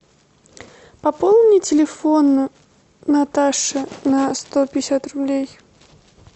пополни телефон наташи на сто пятьдесят рублей